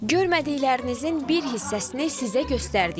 Görmədiklərinizin bir hissəsini sizə göstərdik.